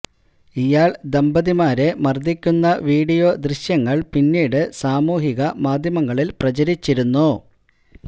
ഇയാള് ദമ്പതിമാരെ മര്ദിക്കുന്ന വീഡിയോ ദൃശ്യങ്ങള് പിന്നീട് സാമൂഹിക മാധ്യമങ്ങളില് പ്രചരിച്ചിരുന്നു